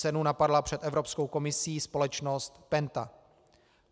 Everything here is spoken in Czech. Cenu napadla před Evropskou komisí společnost Penta.